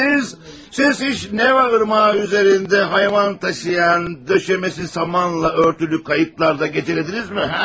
Siz, siz heç Neva Irmağı üzərində hayvan daşıyan, döşəməsi samanla örtülü qayıqlarda gecələdinizmi?